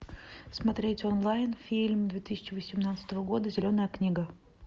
смотреть онлайн фильм две тысячи восемнадцатого года зеленая книга